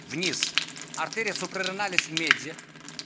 вниз артерия супрареналис медиа